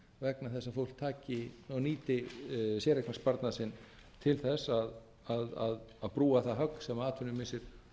vegna þess að fólk taki og nýti séreignarsparnað sinn til þess að brúa það högg sem atvinnumissir